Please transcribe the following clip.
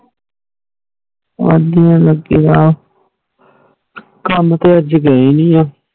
ਵਧੀਆ ਕਾਮ ਤੇ ਅਜੇ ਗਏ ਨੀਂ ਆ